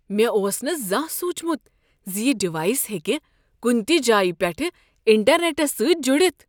مےٚ اوس نہٕ زانٛہہ سوچمت ز یہ ڈیوائس ہیٚکہ کنہ تہ جایہ پیٹھٕ انٹرنیٹس سۭتۍ جڑتھ۔